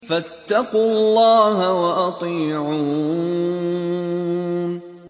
فَاتَّقُوا اللَّهَ وَأَطِيعُونِ